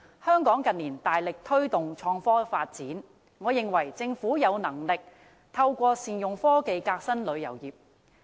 香港近年大力推動創科發展，我認為政府有能力透過善用科技革新旅遊業。